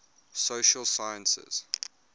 social sciences